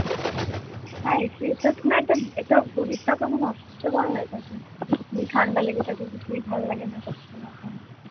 হ্যাঁ সে তো না একটা শরীরটাও একটা কেমন অসহ্যকর হয়ে থাকে ঠান্ডা লেগে থাক মানে কিছুই ভালো লাগে না করতে এরকম এমনি গরমের মধ্যে ভালো তো,